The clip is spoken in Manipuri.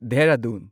ꯗꯦꯍꯔꯥꯗꯨꯟ